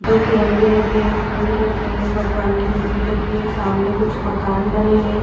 दो तिरंगे रखे हैं। फूल रखे हैं। भगवान की मूर्ति रखी है। सामने कुछ मकान बने हैं।